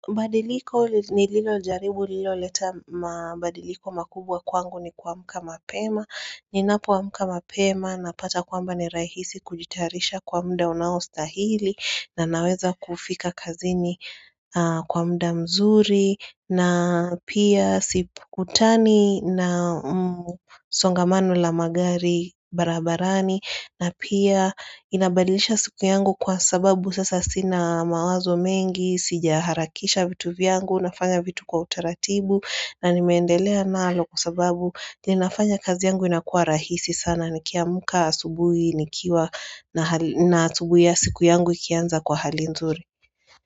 Badiliko nililo jaribu lililo leta mabadiliko makubwa kwangu ni kuamka mapema Ninapoamka mapema napata kwamba ni rahisi kujitarisha kwa mda unaostahili na naweza kufika kazini kwa mda mzuri na pia sikutani na songamano la magari barabarani na pia inabadilisha siku yangu kwa sababu sasa sina mawazo mengi Sijaharakisha vitu vyangu, nafanya vitu kwa utaratibu na nimeendelea nalo kwa sababu linafanya kazi yangu inakua rahisi sana Nikiamka asubuhi, nikiwa na na asubuhi ya siku yangu ikianza kwa hali nzuri.